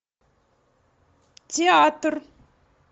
театр